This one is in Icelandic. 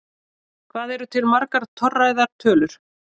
Hvað eru til margar torræðar tölur?